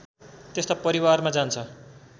त्यस्ता परिवारमा जान्छ